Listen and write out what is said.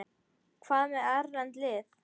Hvað með erlend lið?